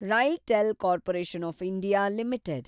RailTel corporation of India limited